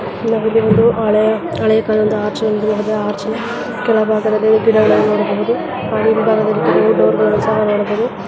ಇದೊಂದು ಹಳೆಯ ಕಾಲದ ಕೆಳಭಾಗದಲ್ಲಿ ಗಿಡಗಳನ್ನು ನೋಡಬಹುದು